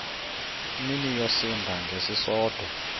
mini yosinda ngesisodwa